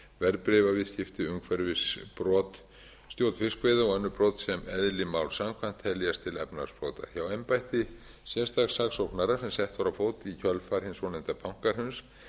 verðbréfaviðskipti umhverfisbrot stjórn fiskveiða og önnur best sem eðli máls samkvæmt teljast til efnahagsbrota hjá embætti sérstaks saksóknara sem sett var á fót í kjölfar hins svonefnda bankahruns